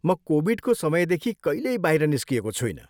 म कोभिडको समयदेखि कहिल्यै बाहिर निस्किएको छुइनँ।